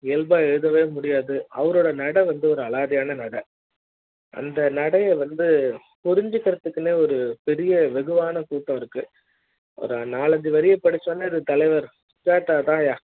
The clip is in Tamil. இயல்பா எழுதவே முடியாது அவரோட நடை வந்து ஒரு அலாதியான நடை அந்த அந்த நடை வந்து புரிஞ்சிக்கிறத்துக்குனே ஒரு பெரிய வெகுவான கூட்டம் இருக்கு ஒரு நாலு அஞ்சு வரிய படிச்சனே தலைவர் சுஜாதா தான் யா